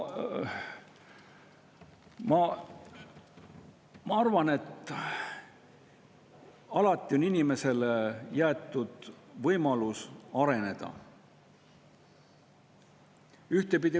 Ma arvan, et inimesel on alati võimalus areneda.